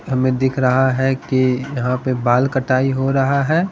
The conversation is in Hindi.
हमें दिख रहा है कि यहां पे बाल कटाई हो रहा है।